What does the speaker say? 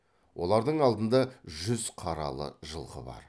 олардың алдында жүз қаралы жылқы бар